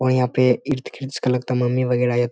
और यहाँ पे इर्द गिर्द इसका लगता है मम्मी वगैरह --